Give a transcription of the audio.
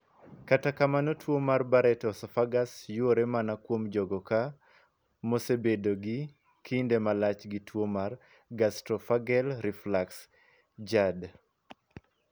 Kata kamano tuo mar Barrett esophagus yuore mana kuom jogo ka mosebedo gi kinde malach gi tuo mar gastroesophageal reflux (GERD).